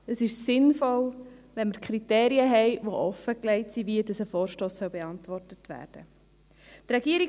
Es ist sinnvoll, wenn wir Kriterien haben, die offengelegt sind, wie ein Vorstoss beantwortet werden sollte.